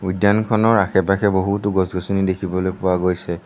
খনৰ আশে পাশে বহুতো গছ গছনি দেখিবলৈ পোৱা গৈছে।